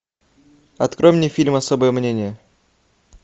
открой мне фильм особое мнение